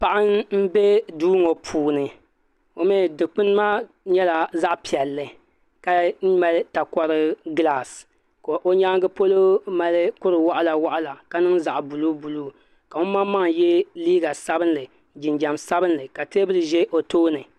Paɣa n bɛ duu ŋo puuni dikpuni maa nyɛla zaɣ piɛlli ka mali takori gilaas ka o nyaangi polo mali kuri waɣila waɣila ka niŋ zaɣ buluubuluu ka ŋun maŋmaŋ yɛ liiga sabinli jinjɛm sabinli ka teebuli ʒɛ o tooni